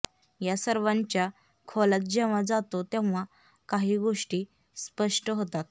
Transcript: या सर्वांच्या खोलात जेव्हा जातो तेव्हा काही गोष्टी स्पष्ट होतात